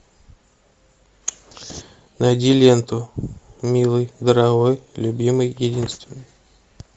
найди ленту милый дорогой любимый единственный